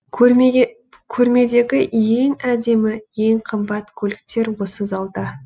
көрмедегі ең әдемі ең қымбат көліктер осы залда